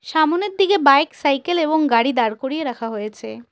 সামোনের দিকে bike cycle এবং গাড়ি দাঁড় করিয়ে রাখা হয়েছে।